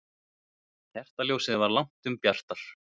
Kertaljósið var langtum bjartara.